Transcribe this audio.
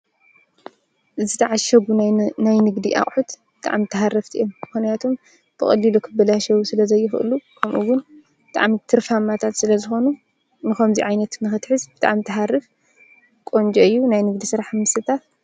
ዝተዓሸጉ ናይ ንግዲ ኣቁሑት ብጣዕሚ ተሃረፍቲ እዮም ምክንያቱ ብቀሊሉ ክባላሸው ስለዘይክእሉ ከምኡ ዉን ብጣዕሚ ትርፋማታት ስለዝኮኑ ንከምዙይ ዓይነት ንክትሕዝ ብጣዕሚ ትሃርፍ ቆንጆ እዩ ናይ ንግዲ ስራሕ ንምስታፍ።